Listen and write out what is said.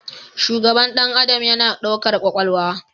Shugaban ɗan adam yana ɗaukar kwakwalwa